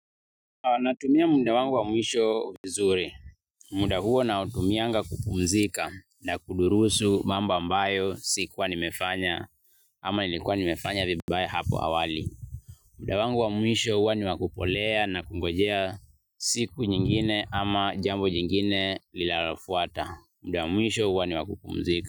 Natumia muda wangu wa mwisho vizuri. Muda huo nautumianga kupumzika na kudurusu mambo ambayo sikuwa nimefanya ama nilikuwa nimefanya vibaya hapo awali. Muda wangu wa mwisho huwa ni wa kupolea na kungojea siku nyingine ama jambo jingine linalofuata. Muda wa mwisho huwa ni wa kupumzika.